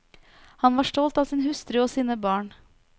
Han var stolt av sin hustru og sine barn.